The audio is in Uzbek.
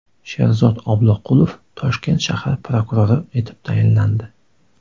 Sherzod Obloqulov Toshkent shahar prokurori etib tayinlandi.